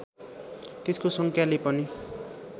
त्यसको सङ्ख्याले पनि